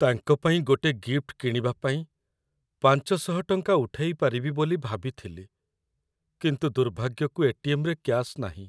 ତାଙ୍କ ପାଇଁ ଗୋଟେ ଗିଫ୍ଟ କିଣିବା ପାଇଁ ୫୦୦ ଟଙ୍କା ଉଠେଇ ପାରିବି ବୋଲି ଭାବିଥିଲି, କିନ୍ତୁ ଦୁର୍ଭାଗ୍ୟକୁ ଏ.ଟି.ଏମ୍. ରେ କ୍ୟାଶ୍‌ ନାହିଁ ।